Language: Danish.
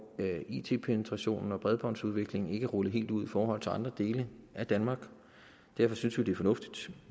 it penetrationen og bredbåndsudviklingen ikke er rullet helt ud i forhold til andre dele af danmark og derfor synes vi det er fornuftigt